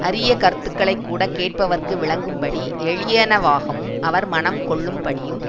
அரிய கருத்துகளை கூட கேட்பவர்க்கு விளங்கும்படி எளியனவாகவும் அவர் மனங் கொள்ளும்படியும்